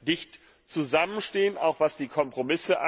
dicht zusammenstehen, auch was die Kompromisse